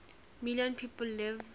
million people live